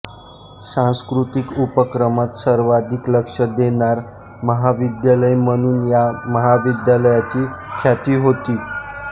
सांस्कृतिक उपक्रमात सर्वाधिक लक्ष देणारं महाविद्यालय म्हणून या महाविद्यालयाची ख्याती होती